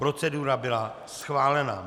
Procedura byla schválena.